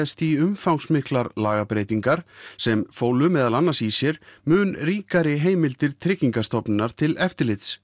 í umfangsmiklar lagabreytingar sem fólu meðal annars í sér mun ríkari heimildir Tryggingastofnunar til eftirlits